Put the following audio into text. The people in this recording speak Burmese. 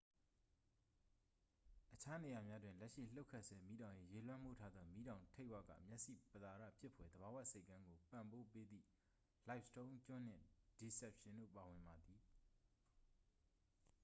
အခြားနေရာများတွင် လက်ရှိလှုပ်ခတ်ဆဲ မီးတောင်၏ ရေလွှမ်းမိုးထားသော မီးတောင်ထိပ်ဝက မျက်စိပသာဒဖြစ်ဖွယ် သဘာဝဆိပ်ကမ်းကို ပံ့ပိုးပေးသည့် livingston ကျွန်းနှင့် deception တို့ပါဝင်သည်